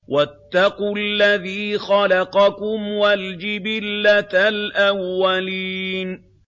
وَاتَّقُوا الَّذِي خَلَقَكُمْ وَالْجِبِلَّةَ الْأَوَّلِينَ